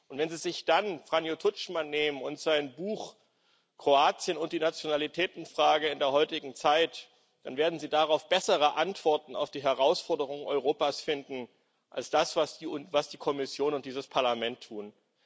Und wenn Sie sich dann Franjo Tuđman nehmen und sein Buch Kroatien und die Nationalitätenfrage in der heutigen Zeit, dann werden Sie darin bessere Antworten auf die Herausforderungen Europas finden als das, was die Kommission und dieses Parlament tun.